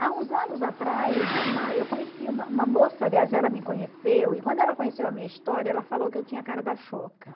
Há uns anos atrás, uma eu conheci uma uma moça, aliás, ela me conheceu, e quando ela conheceu a minha história, ela falou que eu tinha a cara da